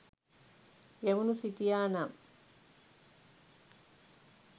ගැමුණු සිටියා නම්